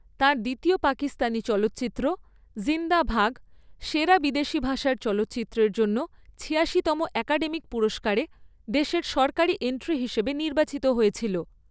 তাঁর দ্বিতীয় পাকিস্তানি চলচ্চিত্র জিন্দা ভাগ সেরা বিদেশী ভাষার চলচ্চিত্রের জন্য ছিয়াশিতম একাডেমি পুরস্কারে দেশের সরকারী এন্ট্রি হিসাবে নির্বাচিত হয়েছিল।